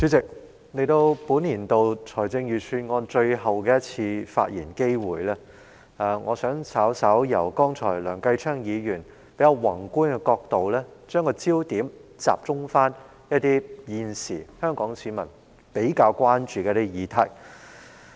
主席，藉着這個就本年度財政預算案作最後一次發言的機會，我想把焦點由梁繼昌議員剛才發言的較宏觀角度，稍為轉移至集中討論香港市民現時比較關注的議題。